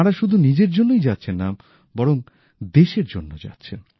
তাঁরা শুধু নিজের জন্যই যাচ্ছেন না বরং দেশের জন্য যাচ্ছেন